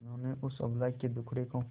जिन्होंने उस अबला के दुखड़े को